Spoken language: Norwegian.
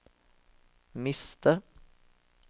miste